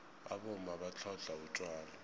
abomma batlhodlha utjwala